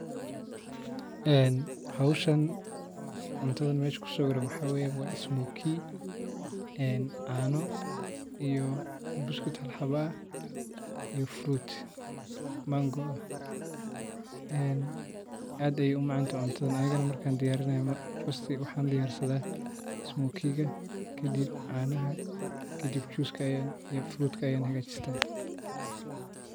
Ee howshan cuntadhan mesh kusawiran waa ismoki ee cano iyo buskut hal xabo ah iyo fruit mango ah ee aad ayey u macantahay cuntadhan anigana markan diyarinayo markasta maxan diyarsadha smokiga canaha kadib juska iyo fruit ka.